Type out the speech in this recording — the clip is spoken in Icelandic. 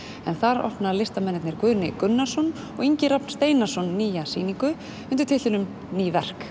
en þar opna listamennirnir Guðni Gunnarsson og Ingi Rafn Steinarsson nýja sýningu undir titlinum ný verk